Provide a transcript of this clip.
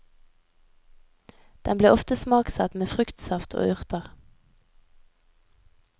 Den blir ofte smaksatt med fruktsaft og urter.